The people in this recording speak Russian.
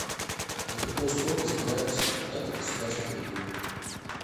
на какой срок избираются депутаты государственной думы